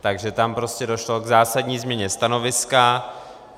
Takže tam prostě došlo k zásadní změně stanoviska.